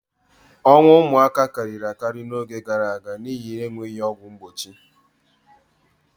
Ọnwụ ụmụaka karịrị akarị n'oge gaara aga n'ihi enweghị ọgwụ mgbochi.